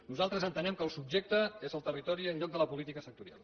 nosaltres entenem que el subjecte és el territori en lloc de la política sectorial